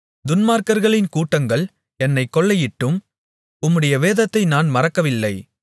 துன்மார்க்கர்களின் கூட்டங்கள் என்னைக் கொள்ளையிட்டும் உம்முடைய வேதத்தை நான் மறக்கவில்லை